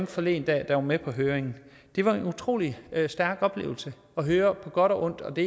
forleden dag var med på høringen det var en utrolig stærk oplevelse at høre på godt og ondt og det